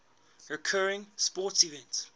recurring sporting events